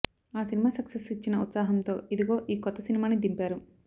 ఆ cinema success ఇచ్చిన ఉత్సాహంతో ఇదిగో ఈ కొత్త సినిమాని దింపారు